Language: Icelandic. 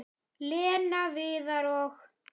Lena, Viðar og